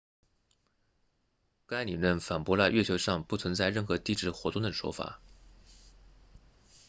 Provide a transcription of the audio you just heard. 该理论反驳了月球上不存在任何地质活动的说法